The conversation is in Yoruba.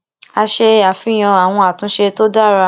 a ṣe àfihàn àwọn àtúnṣe tó dára